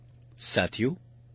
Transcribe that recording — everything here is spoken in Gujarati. સાથીઓ મને બ્રિયન ડી